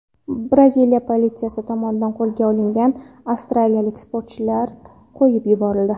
Braziliya politsiyasi tomonidan qo‘lga olingan avstraliyalik sportchilar qo‘yib yuborildi.